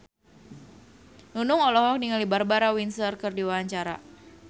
Nunung olohok ningali Barbara Windsor keur diwawancara